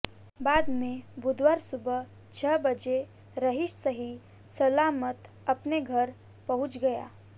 बाद में बुधवार सुबह छह बजे रहीश सही सलामत अपने घर पहुंच गया